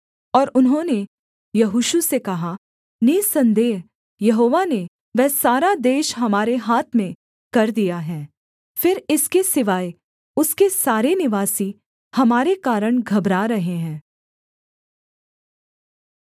और उन्होंने यहोशू से कहा निःसन्देह यहोवा ने वह सारा देश हमारे हाथ में कर दिया है फिर इसके सिवाय उसके सारे निवासी हमारे कारण घबरा रहे हैं